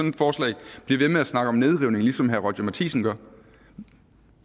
et forslag bliver ved med at snakke om nedrivning ligesom herre roger courage matthisen gør